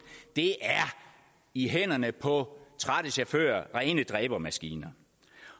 i hænderne på trætte chauffører rene dræbermaskiner